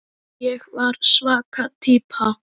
Ég var svaka týpa.